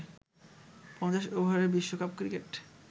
৫০ ওভারের বিশ্বকাপ ক্রিকেট